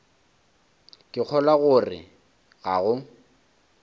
ke kgolwa gore ga go